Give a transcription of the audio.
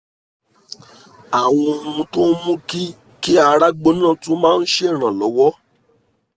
àwọn ohun tó ń mú kí kí ara gbóná tún máa ń ṣèrànlowọ́